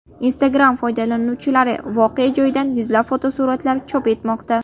Instagram foydalanuvchilari voqea joyidan yuzlab fotosuratlar chop etmoqda.